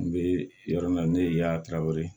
N bɛ yɔrɔ min na ne ye yaala ka weele